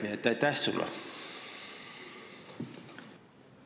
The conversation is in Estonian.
Nii et aitäh sulle!